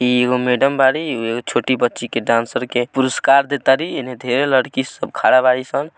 यह एगो मेडम बाड़ी यह छोटी बच्ची के डांसर के परुस्कार दे तारी ये लड़की खड़ा बा ई सब।